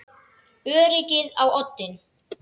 Öryggið á oddinn!